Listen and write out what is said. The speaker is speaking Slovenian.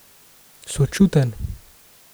Sočuten.